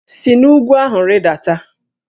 Si n'úgwú ahụ rịdata!